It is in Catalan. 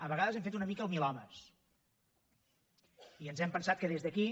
a vegades hem fet una mica el milhomes i ens hem pensat que des d’aquí